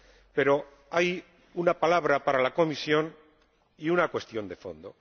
Pero hay una palabra para la Comisión y una cuestión de fondo.